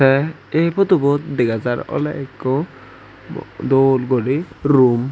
tey ei photobut dega jar oley ikko dol guri room.